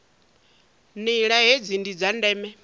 nila hedzi ndi dza ndeme